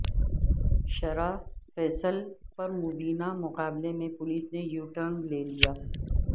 شارع فیصل پرمبینہ مقابلے میں پولیس نے یوٹرن لےلیا